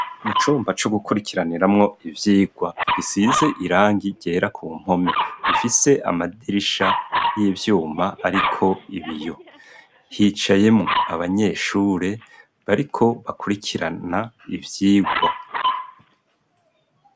Mu cumba co gukurikiraniramwo ivyigwa gisize irangi ryera ku mpome, bifise amadirisha y'ivyuma ariko ibiyo, hicayemo abanyeshure bariko bakurikirana ivyigwa.